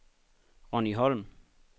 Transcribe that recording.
Ronni Holm